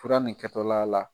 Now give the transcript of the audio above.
Fura nin kɛtɔl'a la